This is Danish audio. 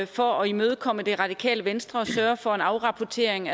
for at imødekomme det radikale venstre og sørge for en afrapportering